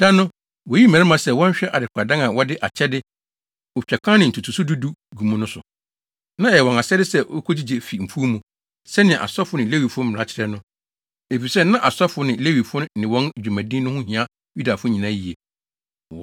Da no, woyii mmarima sɛ wɔnhwɛ adekoradan a wɔde akyɛde, otwakan ne ntotoso du du gu mu no so. Na ɛyɛ wɔn asɛde sɛ wokogyigye fi mfuw mu, sɛnea asɔfo ne Lewifo mmara kyerɛ no, efisɛ na asɔfo ne Lewifo ne wɔn dwumadi no ho hia Yudafo nyinaa yiye.